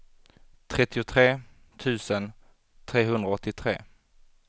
trettiotre tusen trehundraåttiotre